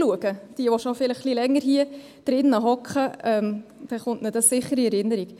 Die, welche schon länger hier im Rat sind, werden sich sicher erinnern.